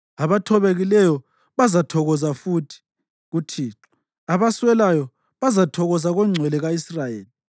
Abathobekileyo bazathokoza futhi kuThixo, abaswelayo bazathokoza koNgcwele ka-Israyeli.